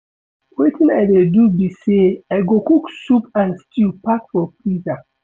Wetin I dey do be say I go cook soup and stew pack for freezer